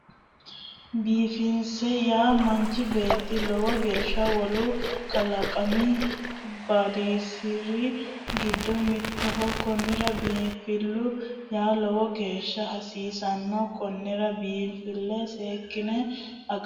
Biinfille yaa manchi beetto lowo geeshsha wolu kalaqamii badanosiri giddo mittoho kunira biinfillu yaa lowo geeshsha hasiissano konnira biinffille seekkine agara hasiisano